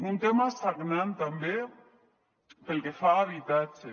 un tema sagnant també pel que fa a habitatge